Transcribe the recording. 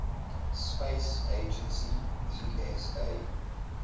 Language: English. space agency esa